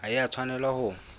ha e a tshwanela ho